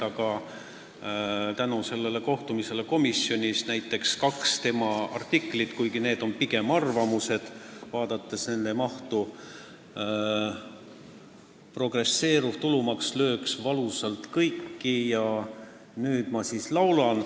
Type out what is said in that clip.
Aga tänu sellele kohtumisele komisjonis lugesin ma näiteks läbi kaks tema artiklit, mis on pigem arvamused, vaadates nende mahtu: "Progresseeruv tulumaks lööks valusalt kõiki" ja "Nüüd ma siis laulan".